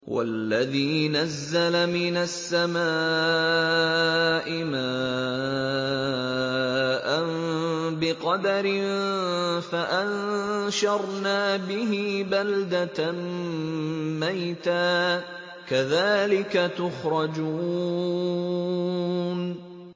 وَالَّذِي نَزَّلَ مِنَ السَّمَاءِ مَاءً بِقَدَرٍ فَأَنشَرْنَا بِهِ بَلْدَةً مَّيْتًا ۚ كَذَٰلِكَ تُخْرَجُونَ